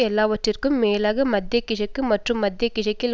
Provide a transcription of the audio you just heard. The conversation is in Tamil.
எல்லாவற்றிற்கும் மேலாக மத்திய கிழக்கு மற்றும் மத்திய கிழக்கில்